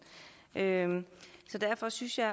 sagen så derfor synes jeg